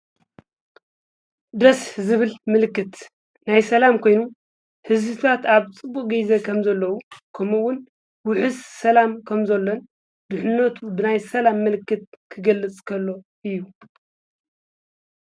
ደስ ዝብል ምልክት ናይ ሰላም ኮይኑ ሕዝታት ኣብ ፅቡቅ ገይዜ ኸም ዘለዉ ከምውን ውሕስ ሰላም ከም ዘሎን ድኅነቱ ብናይ ሰላም ምልክት ክገለጽከሎ እዩ።